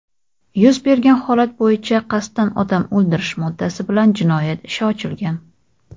Yuz bergan holat bo‘yicha "Qasddan odam o‘ldirish" moddasi bilan jinoyat ishi ochilgan.